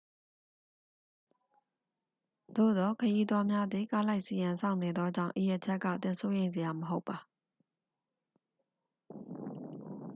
သို့သော် ခရီးသွားများသည် ကားလိုက်စီးရန် စောင့်နေသောကြောင့် ဤအချက်က သင်စိုးရိမ်စရာ မဟုတ်ပါ